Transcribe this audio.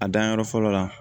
A danyɔrɔ fɔlɔ la